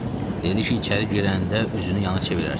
Dedi ki, içəri girəndə üzünü yana çevirərsən.